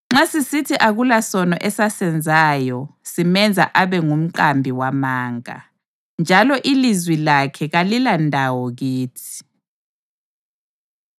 Nxa sisithi akulasono esasenzayo, simenza abe ngumqambi wamanga, njalo ilizwi lakhe kalilandawo kithi.